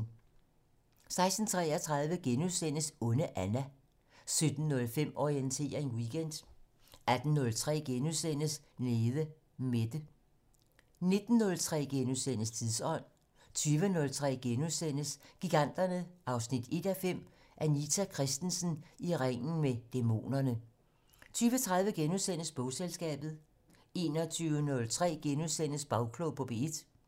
16:33: Onde Anna * 17:05: Orientering Weekend 18:03: Nede Mette * 19:03: Tidsånd * 20:03: Giganterne 1:5 - Anita Christensen: I ringen med dæmonerne * 20:30: Bogselskabet * 21:03: Bagklog på P1 *